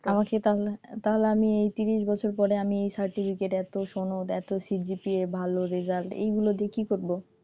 আমাকে তাহলে আমি এই ত্রিশ বছর পরে আমি এই certificate এত সোনাত CGPA ভালো result দিয়ে কি করবো?